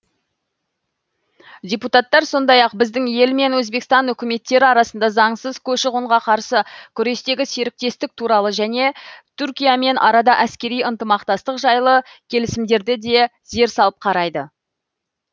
депутаттар сондай ақ біздің ел мен өзбекстан үкіметтері арасында заңсыз көші қонға қарсы күрестегі серіктестік туралы және түркиямен арада әскери ынтымақтастық жайлы келісімдерді де зер салып қарайды